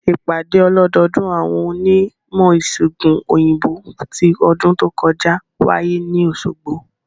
Ìpàdé ọlọ́dọọdún àwọn onímọ̀-ìsègùn òyìnbó ti ọdún tó kọjá wáyé ní Òsogbo